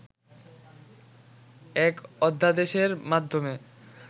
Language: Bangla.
এক অধ্যাদেশের মাধ্যমে